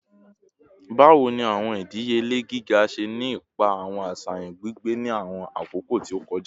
Bawo ni awọn idiyele giga ṣe ni ipa awọn aṣayan gbigbe ni awọn akoko ti o kọja?